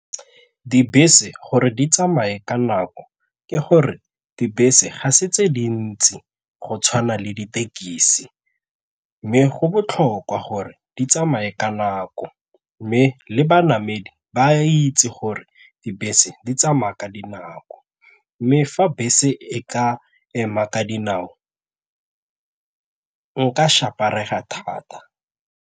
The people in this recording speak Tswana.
Dibese gore di tsamaye ka nako ke gore dibese ga se tse dintsi go tshwana le ditekisi mme go botlhokwa gore di tsamaye ka nako mme le banamedi ba itse gore dibese di tsamaya ka dinako mme fa bese e ka ema ka dinao nka thata.